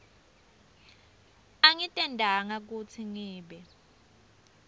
angitentanga kutsi ngibe